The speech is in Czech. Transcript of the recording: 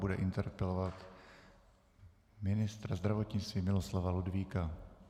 Bude interpelovat ministra zdravotnictví Miloslava Ludvíka.